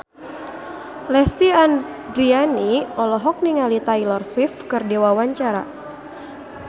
Lesti Andryani olohok ningali Taylor Swift keur diwawancara